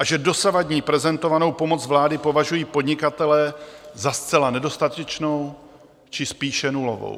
A že dosavadní prezentovanou pomoc vlády považují podnikatelé za zcela nedostatečnou, či spíše nulovou.